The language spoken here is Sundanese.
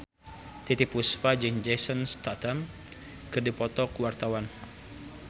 Titiek Puspa jeung Jason Statham keur dipoto ku wartawan